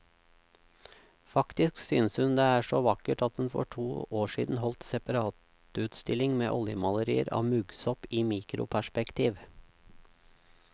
Faktisk synes hun det er så vakkert at hun for to år siden holdt separatutstilling med oljemalerier av muggsopp i mikroperspektiv.